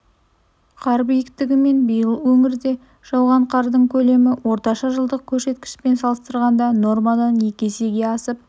қар биіктігі мен биыл өңірде жауған қардың көлемі орташа жылдық көрсеткішпен салыстырғанда нормадан екі есеге асып